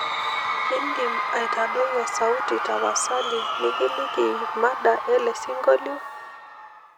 idim aitadoi osauiti tapasali nikiliki mada ele siongolio